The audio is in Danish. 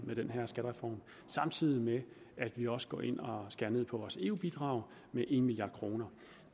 med den her skattereform samtidig med at vi også går ind og skærer ned på vores eu bidrag med en milliard kroner